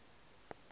a ka ba a otišwa